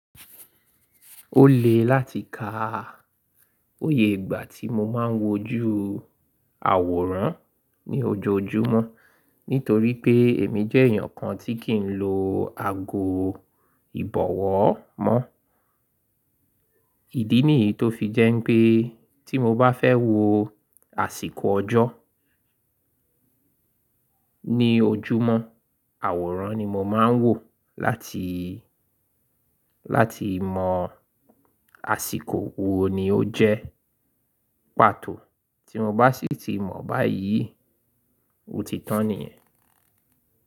Ó lè láti kà iye ìgbà tí mo máa ń wojú àwòrán ní ojoojúmọ́ nítorí pé èmi jẹ́ èèyàn kan tí kì í lọ ago ìbọ̀wọ́ mọ́. Ìdí nìyí tó fi jẹ́ pé tí mo bá fẹ́ wo àsìkò ọjọ́ ní ojúmọ́, àwòrán ni mo máa ń wò láti, láti mọ àsìkò wo ni ó jẹ́ pàtó. Tí mo bá sì ti mọ̀ báyìí, ó ti tán nìyẹn.